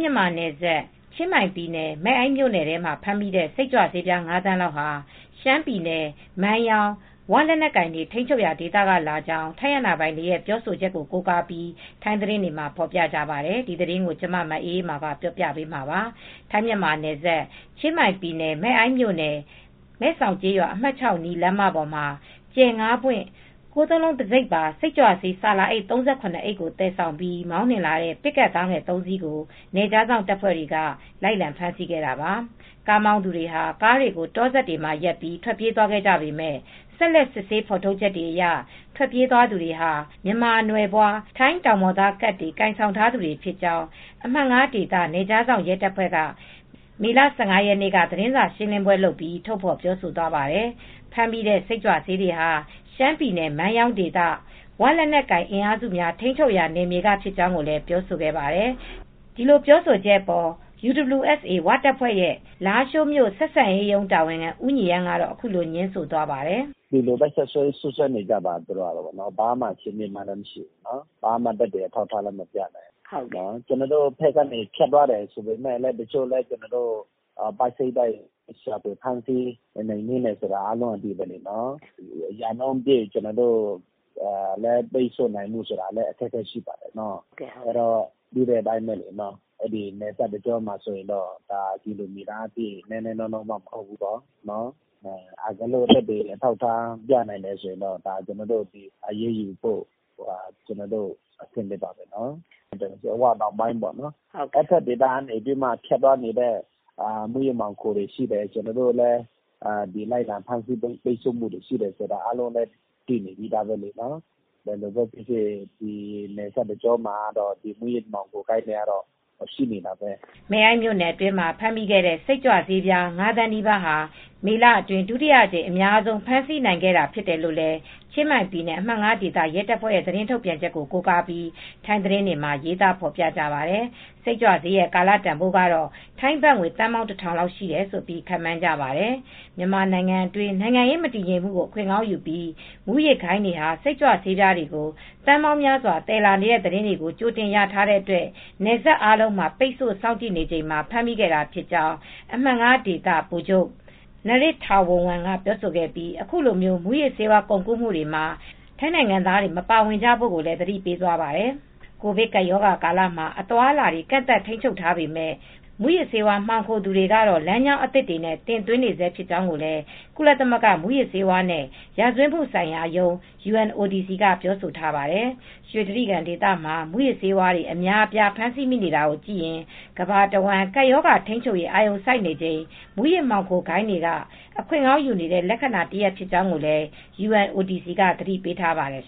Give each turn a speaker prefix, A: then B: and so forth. A: မြန်မာနယ်စပ် ချင်းမိုင်ပြည်နယ် မယ့်အိုင်းမြို့နယ်ထဲမှာ ဖမ်းမိတဲ့ စိတ်ကြွဆေး ၅ သန်းလောက်ဟာ ရှမ်းပြည်နယ် မိုင်းယောင်း ဝလက်နက်ကိုင်တွေ ထိန်းချုပ်ရာဒေသကလာကြောင်း ထိုင်းအာဏာပိုင်တွေ ပြောဆိုချက်ကို ကိုးကားပြီး ထိုင်းသတင်းတွေမှာ ဖော်ပြကြပါတယ်။ အပြည့်အစုံကို မအေးအေးမာ တင်ပြပေးထားပါတယ်။ ထိုင်း-မြန်မာနယ်စပ် ချင်းမိုင်ပြည်နယ် မယ့်အိုင်းမြို့နယ် မယ့်စောင်ကျေးရွာ အမှတ် ၆ အနီး လမ်းမပေါ်မှာ ကြယ်ငါးပွင့် ၉၉၉ တံဆိပ်ပါ စိတ်ကြွဆေး ဆာလာအိတ် ၃၇ အိတ်ကို သယ်ဆောင်ပြီး မောင်းနှင်လာတဲ့ ပစ်ကပ်ကားငယ်သုံးစီးကို နယ်ခြားစောင့်တပ်ဖွဲ့ဝင်တွေက လိုက်လံဖမ်းဆီးခဲ့တာပါ။ ကားမောင်းသူတွေဟာ ကားတွေကို တောစပ်မှာရပ်ပြီး ထွက်ပြေးသွားခဲ့ကြပေမယ့် ဆက်လက်စစ်ဆေး ဖော်ထုတ်ချက်တွေအရ ထွက်ပြေးသွားသူတွေဟာ မြန်မာနွယ်ဖွား ထိုင်းတောင်ပေါ်သားကတ် ကိုင်ဆောင်ထားသူတွေဖြစ်ကြောင်း အမှတ် ၅ ဒေသ နယ်ခြားစောင့်ရဲတပ်ဖွဲ့က မေလ ၁၅ ရက်နေ့က သတင်းစာရှင်းလင်းပွဲလုပ်ပြီး ထုတ်ဖော်ပြောဆိုသွားပါတယ်။ ဖမ်းမိတဲ့ စိတ်ကြွဆေးတွေဟာ ရှမ်းပြည်နယ် မိုင်းယောင်းဒေသ ဝလက်နက်ကိုင်အင်အားစုများ ထိန်းချုပ်ထားရာ နယ်မြေကဖြစ်ကြောင်း ပြောဆိုခဲ့ပါတယ်။ ဒီလိုပြောဆိုချက်အပေါ် UWSA ဝတပ်ဖွဲ့ လားရှိုးမြို့ ဆက်ဆံရေးရုံး တာဝန်ခံ ဦးညီရမ်းကတော့ အခုလို ငြင်းဆိုသွားပါတယ်။
B: “ဒီလိုပဲ စွပ်စွဲနေကြပါပဲ။ ဘာမှ အခြေအမြစ်လည်း မရှိဘူးနော်။ ဘာမှ သက်သေအထောက်အထားလည်း မပြနိုင်ဘူး။ ကျနော်တို့ဘက်က ဖြတ်သွားတယ် ဆိုပေမယ့်လည်း ကျနော်တို့ ပိုက်စိတ်တိုက် ဖမ်းဆီးနှိမ်နင်းတယ် ဆိုတာလည်း အားလုံးအသိပါပဲ။ ရာနှုန်းပြည့် ပိတ်ဆို့နိုင်ဖို့ ဆိုတာလည်း အခက်အခဲရှိပါတယ်။ နယ်စပ်တကြောမှာလည်း ကီလိုမီတာက နည်းနည်းနောနောမဟုတ်ဘူး။ တကယ်လို့ သက်သေအထောက်အထား ပြနိုင်တယ်ဆိုရင်တော့ အရေးယူဖို့ အဆင်သင့်ပါပဲ။ ဝတောင်ပိုင်းပေါ့နော်၊ အဲဒီဘက်ဒေသက ဖြတ်သန်းနေတဲ့ မူးယစ်မှောင်ခိုမှုတွေက ရှိတယ်။ ကျနော်တို့လည်း လိုက်လံဖမ်းဆီး ထိန်းချုပ်မှုတွေ ရှိတယ်ဆိုတာ အားလုံးလည်းသိတယ်။ ဘယ်လိုပဲဖြစ်ဖြစ် နယ်စပ်တကြောမှာတော့ မူးယစ်မှောင်ခိုဂိုဏ်းတွေကတော့ ရှိနေတာပ
A: ဲ။” မယ့်အိုင်းမြို့နယ်အတွင်းမှာ ဖမ်းဆီးမိခဲ့တဲ့ စိတ်ကြွဆေးပြား ၅ သန်းနီးပါးဟာ မေလအတွင်း ဒုတိယအကြိမ် အများဆုံး ဖမ်းဆီးနိုင်ခဲ့တာ ဖြစ်တယ်လို့ ချင်းမိုင်ပြည်နယ် အမှတ် ၅ ဒေသ ရဲတပ်ဖွဲ့ရဲ့ သတင်းထုတ်ပြန်ချက်ကို ကိုးကားပြီး ထိုင်းသတင်းတွေမှာ ရေးသားဖော်ပြထားပါတယ်။ စိတ်ကြွဆေးတွေရဲ့ ကာလတန်ဖိုးကတော့ ဘတ်ငွေသန်းပေါင်း ၁,၀၀၀ လောက်ရှိတယ်လို့ ခန့်မှန်းကြပါတယ်။ မြန်မာနိုင်ငံအတွင်း နိုင်ငံရေးမတည်ငြိမ်မှုကို အခွင့်ကောင်းယူပြီး မူးယစ်ဂိုဏ်းတွေဟာ စိတ်ကြွဆေးပြားတွေကို သန်းပေါင်းများစွာ သယ်လာနေတဲ့ သတင်းတွေကို ကြိုတင်ရထားတဲ့အတွက် နယ်စပ်လမ်းအားလုံးမှာ ပိတ်ဆို့ စောင့်ကြည့်နေချိန်မှာ ဖမ်းမိခဲ့တာဖြစ်ကြောင်း အမှတ် ၅ ဒေသ ဗိုလ်ချုပ် Narit Thavornwong က ပြောဆိုခဲ့ပြီး အခုလို မူးယစ်ဆေးဝါး ကုန်ကူးမှုတွေမှာ ထိုင်းနိုင်ငံသားတွေ မပါဝင်ကြဖို့ကိုလည်း သတိပေးသွားပါတယ်။ ကိုဗစ်ကပ်ရောဂါကာလမှာ အသွားအလာတွေ ကန့်သတ်ထိန်းချုပ်ထားပေမယ့် မူးယစ်ဆေးဝါး မှောင်ခိုသူတွေကတော့ လမ်းကြောင်းသစ်တွေနဲ့ တင်သွင်းနေဆဲ ဖြစ်ကြောင်းလည်း ကုလသမဂ္ဂ မူးယစ်ဆေးဝါးနဲ့ ရာဇဝတ်မှုဆိုင်ရာရုံး (UNODC) က ပြောဆိုထားပါတယ်။ ရွှေတြိဂံဒေသမှာ မူးယစ်ဆေးတွေ အများအပြား ဖမ်းဆီးမိနေတာကိုကြည့်ရင် ကမ္ဘာတဝန်း ကပ်ရောဂါထိန်းချုပ်ရေး အာရုံစိုက်နေချိန် မူးယစ်ဆေး မှောင်ခိုဂိုဏ်းတွေက အခွင့်ကောင်းယူနေတဲ့ လက္ခဏာတရပ် ဖြစ်ကြောင်းလည်း UNODC က သတိပေးထားပါတယ်